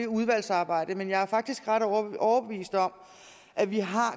udvalgsarbejdet men jeg er faktisk ret overbevist om at vi har